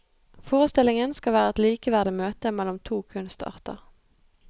Forestillingen skal være et likeverdig møte mellom to kunstarter.